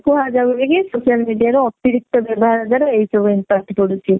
କୁହା ଯାଉଛି କି social media ରୁ ଅତିରିକ୍ତ ବ୍ୟବହାର ଦ୍ଵାରା ଏହି ସବୁ impact ପଡୁଛି